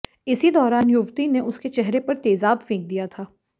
इसी दौरान युवती ने उसके चेहरे पर तेजाब फेंक दिया था